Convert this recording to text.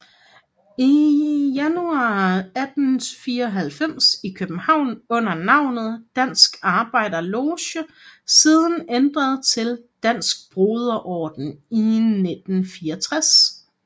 Januar 1894 i København under navnet Dansk Arbejder Loge siden ændret til Dansk Broder Orden i 1964